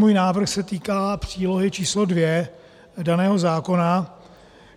Můj návrh se týká přílohy číslo 2 daného zákona,